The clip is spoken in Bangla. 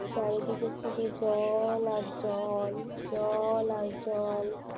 চারিদিকে শুধু জল আর জল, জল আর জল